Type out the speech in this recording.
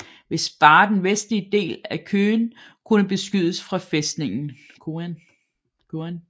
Hvis bare den vestligste del af Koön kunne beskydes fra fæstningen